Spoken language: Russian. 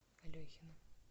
алехина